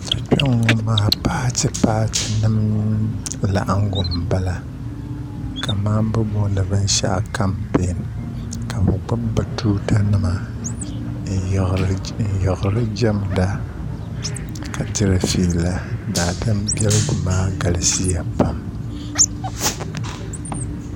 Kpe n ŋɔ maa paati paati nim laɣingu n bala ka mani bi booni binshaɣu kampɛɛn ka bi gbubi bi tuuta nima n yiɣiri jamda ka diri fiila daadam bɛligu maa galisi ya pam.